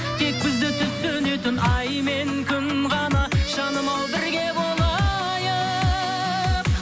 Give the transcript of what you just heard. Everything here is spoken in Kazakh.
тек бізді түсінетін ай мен күн ғана жаным ау бірге болайық